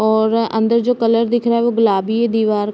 और अंदर जो कलर दिख रहा हैं वो गुलाबी हैं। दीवार --